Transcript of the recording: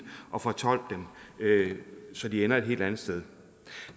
at fortolke dem så de ender et helt andet sted